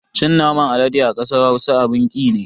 Cin naman alade a kasar Hausa abin ki ne.